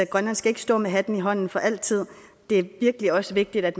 grønland skal ikke stå med hatten i hånden for altid det er virkelig også vigtigt at